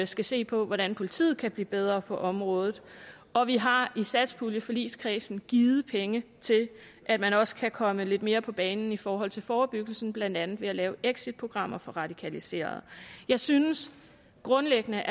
skal se på hvordan politiet kan blive bedre på området og vi har i satspuljeforligskredsen givet penge til at man også kan komme lidt mere på banen i forhold til forebyggelsen blandt andet ved at lave exitprogrammer for radikaliserede jeg synes grundlæggende